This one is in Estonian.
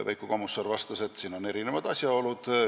Veiko Kommusaar vastas, et tegu on erinevate asjaoludega.